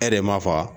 E yɛrɛ m'a fa